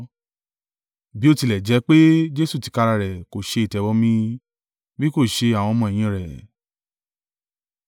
Bí ó tilẹ̀ jẹ́ pé Jesu tìkára rẹ̀ kò ṣe ìtẹ̀bọmi bí kò ṣe àwọn ọmọ-ẹ̀yìn rẹ̀,